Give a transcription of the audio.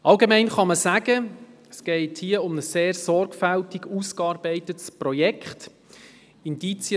Allgemein kann man sagen, dass es um ein sehr sorgfältig ausgearbeitetes Projekt geht.